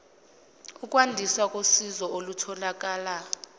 ukwandiswa kosizo olutholakala